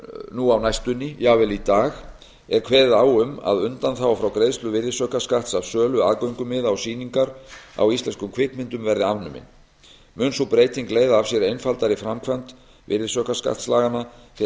nú á næstunni jafnvel í dag er kveðið á um að undanþága frá greiðslu virðisaukaskatts af sölu aðgöngumiða á sýningar á íslenskum kvikmyndum verði afnumin mun sú breyting leiða af sér einfaldari framkvæmd virðisaukaskattslaganna fyrir